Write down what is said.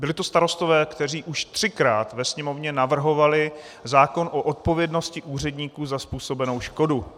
Byli to Starostové, kteří už třikrát ve Sněmovně navrhovali zákon o odpovědnosti úředníků za způsobenou škodu.